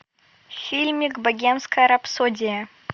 фильмик богемская рапсодия